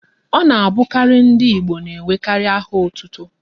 Ọ na abụkarị ndị Igbo n'enwekarị áhà ótútú